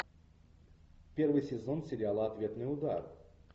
первый сезон сериала ответный удар